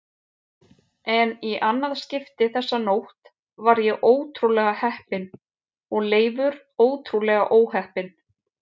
En í annað skipti þessa nótt var ég ótrúlega heppinn og Leifur ótrúlega óheppinn.